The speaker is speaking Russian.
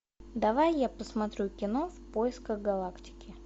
давай я посмотрю кино в поисках галактики